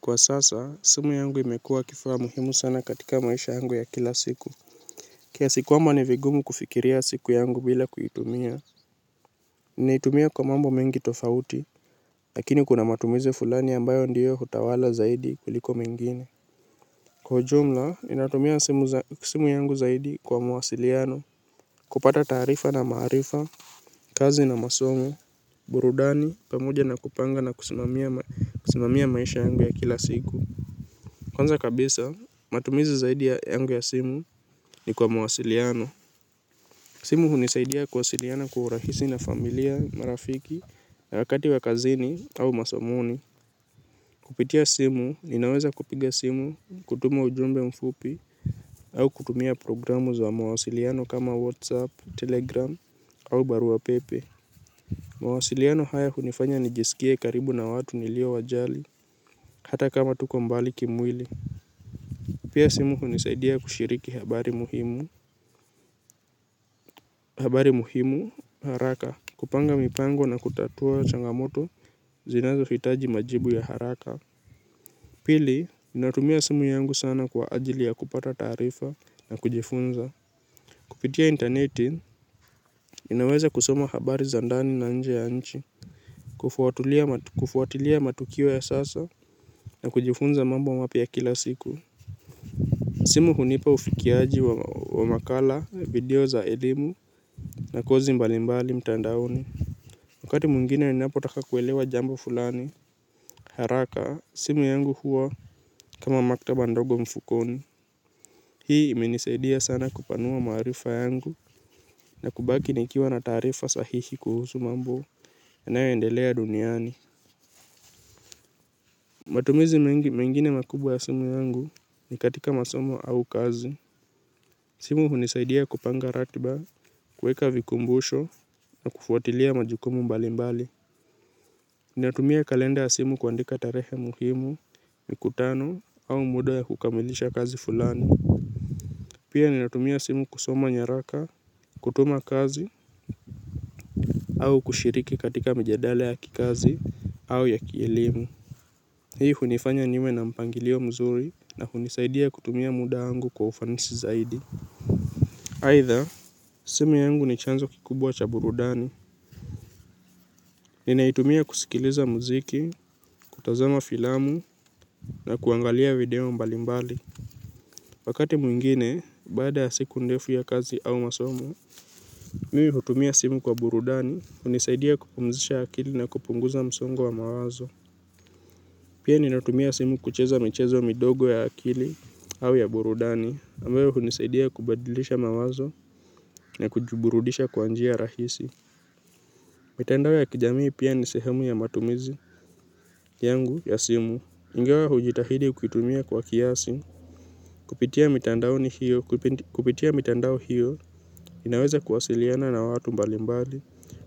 Kwa sasa simu yangu imekuwa kifaa muhimu sana katika maisha yangu ya kila siku kiasi kwamba ni vigumu kufikiria siku yangu bila kuitumia. Ninaitumia kwa mambo mengi tofauti. Lakini kuna matumiz fulani ambayo ndiyo hutawala zaidi kuliko mengine. Kwa ujumla ninatumia simu yangu zaidi kwa mawasiliano. Kupata taarifa na maarifa kazi na masomo burudani pamoja na kupanga na kusimamia maisha yangu ya kila siku. Kwanza kabisa, matumizi zaidi yangu ya simu ni kwa mawasiliano. Simu hunisaidia kuwasiliana kwa urahisi na familia, marafiki, wakati wa kazini au masamoni. Kupitia simu, ninaweza kupiga simu, kutuma ujumbe mfupi au kutumia programu za mwasiliano kama WhatsApp, Telegram au barua pepe. Mawasiliano haya hunifanya nijisikie karibu na watu nilio wajali, hata kama tuko mbali kimwili. Pia simu hunisaidia kushiriki habari muhimu, habati muhimu haraka, kupanga mipango na kutatua changamoto zinazohitaji majibu ya haraka. Pili, natumia simu yangu sana kwa ajili ya kupata taarifa na kujifunza. Kupitia interneti, ninaweza kusoma habari za ndani na nje ya nchi, kufuatilia matukio ya sasa na kujifunza mambo wa mapya ya kila siku. Simu hunipa ufikiaji wa makala, video za elimu na kozi mbalimbali mtandaoni. Wakati mwingine ninapotaka kuelewa jambo fulani. Haraka, simu yangu huwa kama maktaba ndogo mfukoni. Hii imenisaidia sana kupanua maarifa yangu na kubaki nikiwa na taarifa sahihi kuhusu mambo yanayoendelea duniani. Matumizi mengine makubwa ya simu yangu ni katika masomo au kazi. Simu hunisaidia kupanga ratiba, kuweka vikumbusho na kufuatilia majukumu mbali mbali. Ninatumia kalenda ya simu kuandika tarehe muhimu, mikutano au muda ya kukamilisha kazi fulani. Pia ninatumia simu kusoma nyaraka, kutuma kazi au kushiriki katika mijadala ya kikazi au ya kielimu. Hii hunifanya niwe na mpangilio mzuri na hunisaidia kutumia muda wangu kwa ufanisi zaidi. Aidha, simu yangu ni chanzo kikubwa cha burudani. Ninaitumia kusikiliza muziki, kutazama filamu na kuangalia video mbali mbali. Wakati mwingine, baada ya siku ndefu ya kazi au masomo mi hutumia simu kwa burudani, hunisaidia kupumzisha akili na kupunguza msongo wa mawazo. Pia ninatumia simu kucheza michezo midogo ya akili au ya burudani ambayo hunisaidia kubadilisha mawazo na kujiburudisha kwa njia rahisi. Mitandao ya kijamii pia ni sehemu ya matumizi yangu ya simu ingawa hujitahidi kuitumia kwa kiasi kipitia mitandaoni hiyo kupitia mitandao hiyo ninaweza kuwasiliana na watu mbali mbali